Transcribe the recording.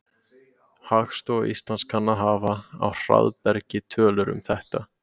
Hagstofa Íslands kann að hafa á hraðbergi tölur um þetta.